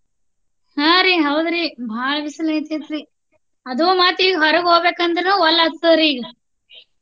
ಆಹ್ರಿ ಹೌದ್ರಿ ಬಾಳ ಬಿಸಿಲು ಆಗಾತೇತ್ರಿ. ಅದು ಮತ್ತ ಈಗ ಹೊರಗ ಹೋಗ್ಬೇಕ ಅಂದ್ರುನು ಒಲ್ಲಿ ಆಗ್ತದರಿ.